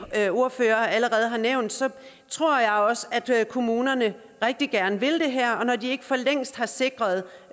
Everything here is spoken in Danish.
ordførere allerede har nævnt tror jeg også at kommunerne rigtig gerne vil det her og når de ikke for længst har sikret